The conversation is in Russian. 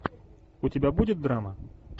у тебя будет драма